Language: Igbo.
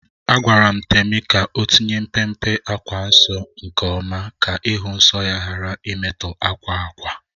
Agwara m Temi ka o tinye mpe mpe akwa nsọ nke oma ka ịhụ nsọ ya ghara imetọ akwa ákwà